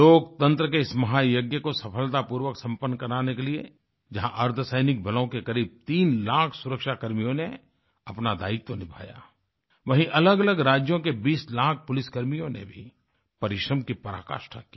लोकतंत्र के इस महायज्ञ को सफलतापूर्वक संपन्न कराने के लिए जहाँ अर्द्धसैनिक बलों के करीब 3 लाख सुरक्षाकर्मियों ने अपना दायित्व निभायावहीँ अलगअलग राज्यों के 20 लाख पुलिसकर्मियों ने भी परिश्रम की पराकाष्ठा की